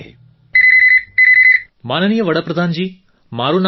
phone call માનનીય પ્રધાનમંત્રીજી મારું નામ ડૉ